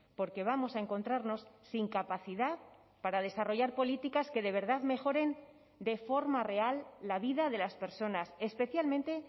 porque vamos a encontrarnos sin capacidad para desarrollar políticas que de verdad mejoren de forma real la vida de las personas especialmente